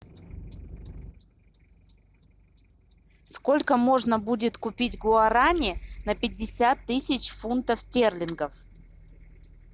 сколько можно будет купить гуарани на пятьдесят тысяч фунтов стерлингов